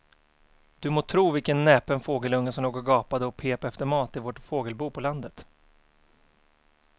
Du må tro vilken näpen fågelunge som låg och gapade och pep efter mat i vårt fågelbo på landet.